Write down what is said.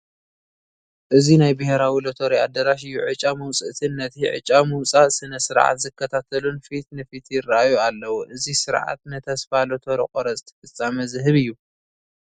እዚ ናይ ብሄራዊ ሎተሪ ኣዳራሽ እዩ፡፡ ዕጫ መውፃእትን ነቲ ዕጫ ምውፃእ ስነ-ስርዓት ዝከታተሉን ፊት ንፊት ይርአዩ ኣለዉ፡፡ እዚ ስርዓት ንተስፋ ሎተሪ ቆረፅቲ ፍፃመ ዝህብ እዩ፡፡